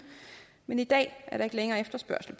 men i dag er der ikke længere efterspørgsel